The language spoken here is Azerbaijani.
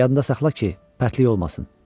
Yadında saxla ki, pərtlik olmasın.